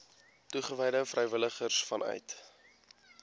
toegewyde vrywilligers vanuit